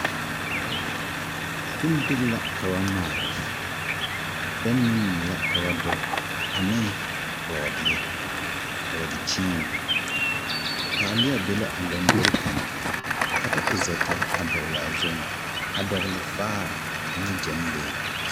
Bondiri la ka ba maal. Bɛŋ ne mui ka ba doge ane bɔɔdeɛ, bɔɔdekyeene, taaleɛ be la a lombori kaŋa ka ba e zɛtage a dɔgle, a dɔgle vaare ane gyɛnlee.